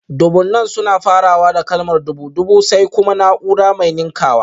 Dubunnan suna farawa da kalmar dubu (dubu), sai kuma naúrar mai ninkawa